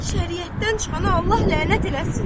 Şəriətdən çıxana Allah lənət eləsin!